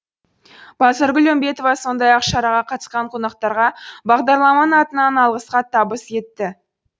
базаргүл үмбетова сондай ақ шараға қатысқан қонақтарға бағдарламаның атынан алғыс хат табыс етті